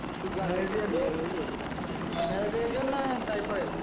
কি জ্বর হয়েছে বললে? মালেরিয়া জ্বর না টাইফওয়েড